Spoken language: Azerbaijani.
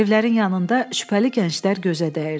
Evlərin yanında şübhəli gənclər gözə dəyirdi.